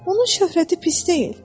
Onun şöhrəti pis deyil.